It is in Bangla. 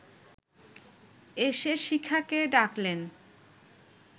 এসে শিখাকে ডাকলেন